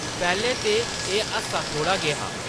पैह्‌‌‌लें ते एह् हासा थोह्‌ड़ा गै हा ।